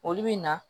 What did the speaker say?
Olu bɛ na